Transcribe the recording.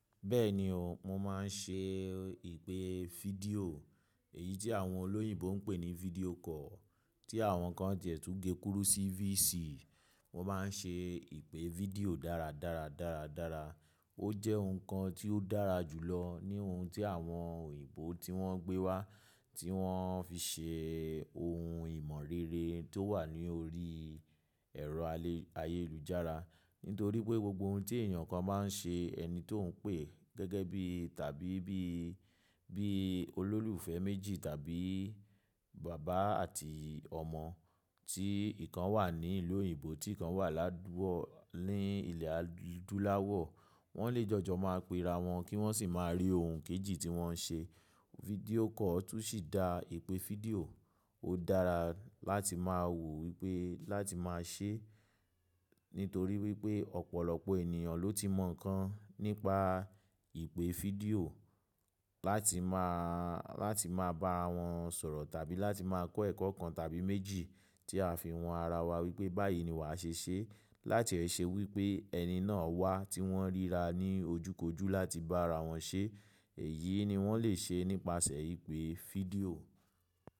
Bẹ́ẹ̀ni o, mo máa ń ṣe ìpè fídíò. Èyí tí àwọn olóyìnbó ń pè ní video call, tí àwọn kan jẹ́ tún gé kúrú sí VC. Mọ́ máa ń ṣe ìpè vídeo dáradára dáradára. Ó jẹ́ nǹkan tí ó dára jùlọ ní ohun tí àwọn òyìnbó tí wọ́n gbé wá tí wọ́n fi ṣe ohun ìmọ̀ rere tó wà ní orí ẹ̀rọ aleyu, ayélujára. Nítorí pé gbogbo ohun tí èèyàn kan máa ń ṣe, ẹni tó ń pè gẹ́gẹ́ bí tàbí bíi, bí i ololùfẹ́ méjì tàbí bàbá àti ọmọ tí ìkan wà ní ilu òyìnbó, tìkan wà ládúwọ̀ ní ilẹ̀ adu, adúláwọ̀. Wọ́n léjọ̀jọ̀ máa péra wọn kí wọ́n sì máa rí ohun kejì tí wọ́n ń ṣe. Video call túṣì dá ìpè fídíò. Ó dára láti máa wò wípé láti máa ṣé nítorí wí pé ọ̀pọ̀lọpọ̀ ènìyàn ló ti mọ nǹkan nípa ìpè fídíò láti máa, láti máa bá wọn sọ̀rọ̀ tàbí láti máa kọ́ ẹ̀kọ́ kan tàbí méjì tí a fì han ara wa wí pé báyìí ni wà á ṣe ṣe. Láti ẹ ṣe wí pé ẹni náà wá tí wọ́n ríra ní ojúkòjú láti bá ara wọn ṣe. Èyí ni wọ́n lè ṣe nípasẹ̀ ìpè fídíò.